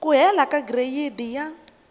ku hela ka gireyidi ya